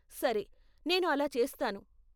సరే, నేను అలా చేస్తాను,